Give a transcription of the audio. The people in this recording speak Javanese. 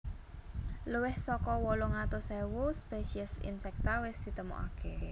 Luwih saka wolung atus ewu spesies insekta wis ditemoaké